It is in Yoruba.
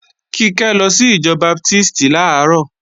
Kíkẹ́ lọ sí ìjọ Baptísì làárọ̀